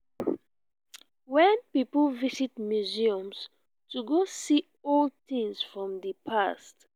wen pipo visit museums to go see old things from di past